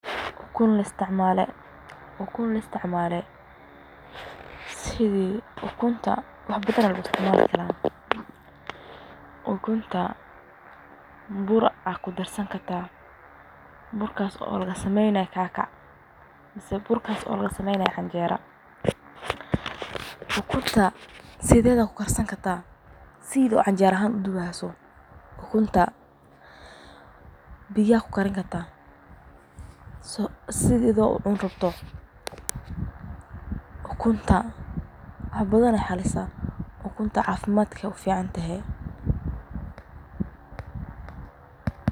Ukun laisticmale wax badan aya loisticmali karta oo kasameyni karta waxa uu isticmali karta bur inta kudarto kacckac kahajisato ama canjero kasameyni. Ukunta sideda kukarsani sidi canjerada uduwi, ukunta biyo kukarini sida adhigo cunii ukunta wax badan uficantahay.